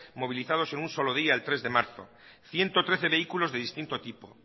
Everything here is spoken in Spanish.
movilizados en un solo día el tres de marzo ciento trece vehículos de distinto tipo